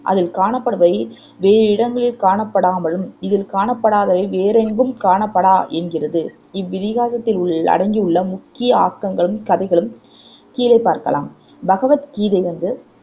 அதில் காணப்படுபவை வேறிடங்களில் காணப்படாமலும் இதில் காணப்படாதவை வேறெங்கும் காணப்படா என்கிறது இவ்விதிகாசத்தில் உள் அடங்கியுள்ள முக்கிய ஆக்கங்களும் கதைகளும் கீழே பார்க்கலாம் பகவத் கீதை வந்து